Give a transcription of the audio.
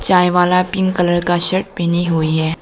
चाय वाला pink colour का शर्ट पहने हुए हैं।